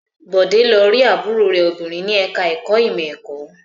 Bọ̀dé lọ rí àbúrò rẹ̀ obìnrin ní ẹ̀ka-ẹ̀kọ́ ìmọ̀-ẹ̀kọ́.